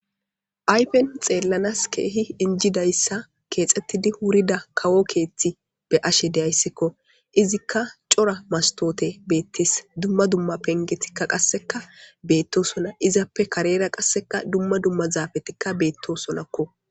Ayfen xeellanas keehi injidayssa keexxettidi wurida kawo keeththi be7ashe de7ayssikko. Izikka cora mastoote beettees. Dumma dumma pengetikka qasseka beettosona. Izappe karera qasseka dumma dumma zaafetikka beettosonakko.